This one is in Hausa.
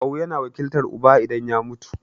Kawu yana wakiltar uba idan ya mutu.